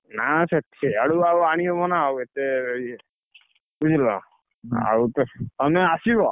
ନା ସେ ଆଉ ଆଣି ହବ ନା ଏତେ ବୁଝିଲ ଆଉ ତମେ ଆସିବ